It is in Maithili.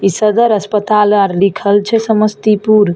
इ सदर अस्पताल आर लिखल छै समस्तीपुर।